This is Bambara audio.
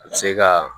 A bɛ se ka